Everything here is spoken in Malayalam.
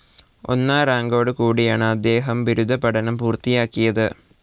ഒന്നാം റാങ്കോടുകൂടിയാണ് അദ്ദേഹം ബിരുദ പഠനം പൂർത്തിയാക്കിയത്.